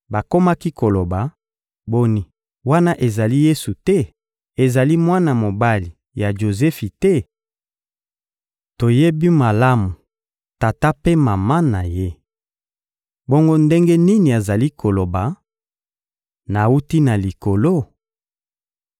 Bakomaki koloba: — Boni, wana ezali Yesu te? Ezali mwana mobali ya Jozefi te? Toyebi malamu tata mpe mama na ye! Bongo ndenge nini azali koloba: «Nawuti na Likolo?»